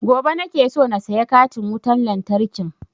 Gobe nake so na saya katin wutan lantarkin